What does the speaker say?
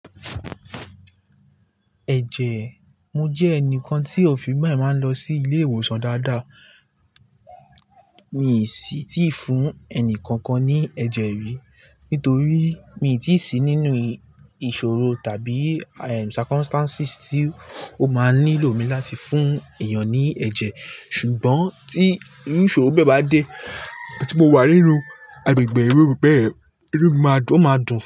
Ẹ̀jẹ̀, mo jẹ́ ẹnìkan tí òfi bẹ máa ń lọ sí ilé ìwòsàn dáadáa. Mi sí tíì fún ẹnikankan ní ẹ̀jẹ̀ rí, nítorí mi tíì sí nínú ìṣòro tàbí circumstances tí ó máa nílò mi láti fún èèyàn ní ẹ̀jẹ̀. Ṣùgbọ́n tí iru ìṣòro bẹ́ẹ̀ bá dé tí mo wà nínú agbègbè irú bẹ́ẹ̀, inu mi máa dún, ó máa dùn.